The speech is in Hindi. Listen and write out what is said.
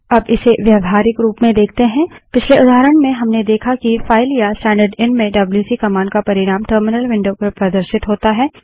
अब इसे व्यावहारिक रूप में देखते हैं पिछले उदाहरण में हमने देखा कि फाइल या स्टैंडर्डएन में डब्ल्यूसी कमांड का परिणाम टर्मिनल विंडो पर प्रदर्शित होता है